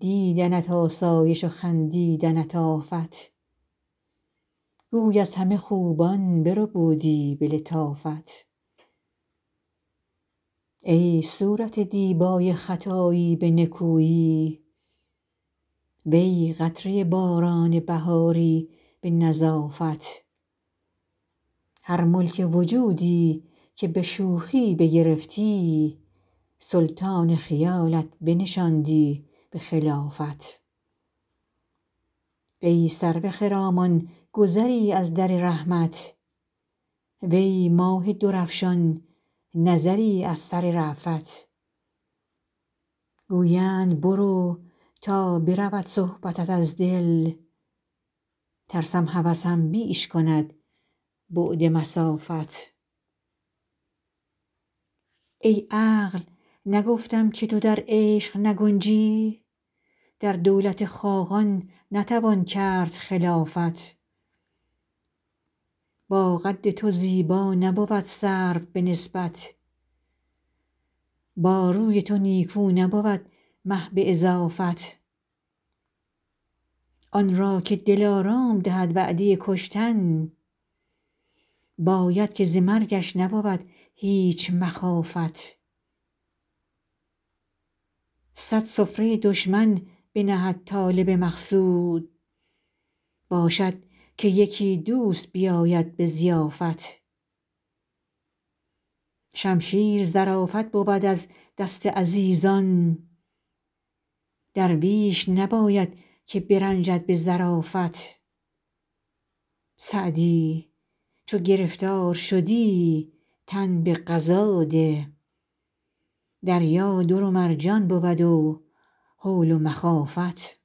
دیدنت آسایش و خندیدنت آفت گوی از همه خوبان بربودی به لطافت ای صورت دیبای خطایی به نکویی وی قطره باران بهاری به نظافت هر ملک وجودی که به شوخی بگرفتی سلطان خیالت بنشاندی به خلافت ای سرو خرامان گذری از در رحمت وی ماه درفشان نظری از سر رأفت گویند برو تا برود صحبتت از دل ترسم هوسم بیش کند بعد مسافت ای عقل نگفتم که تو در عشق نگنجی در دولت خاقان نتوان کرد خلافت با قد تو زیبا نبود سرو به نسبت با روی تو نیکو نبود مه به اضافت آن را که دلارام دهد وعده کشتن باید که ز مرگش نبود هیچ مخافت صد سفره دشمن بنهد طالب مقصود باشد که یکی دوست بیاید به ضیافت شمشیر ظرافت بود از دست عزیزان درویش نباید که برنجد به ظرافت سعدی چو گرفتار شدی تن به قضا ده دریا در و مرجان بود و هول و مخافت